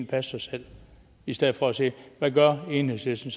passe sig selv i stedet for at sige hvad enhedslisten